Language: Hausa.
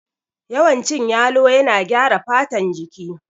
Yawan cin yalo yana gyara fatan jiki